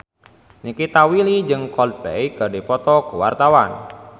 Nikita Willy jeung Coldplay keur dipoto ku wartawan